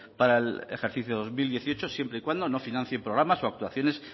para el ejercicio dos mil dieciocho siempre y cuando no financie programas o actuaciones